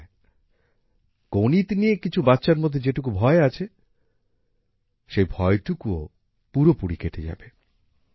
আর হ্যাঁ গণিত নিয়ে কিছু বাচ্চার মধ্যে যেটুকু ভয় আছে সেই ভয়টুকুও পুরোপুরি কেটে যাবে